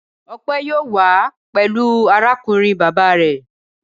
Ọpẹ yóò wá pẹ̀lú arákùnrin bàbá rẹ̀.